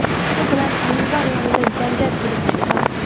shu bilan minbar yonida janjal kelib chiqqan.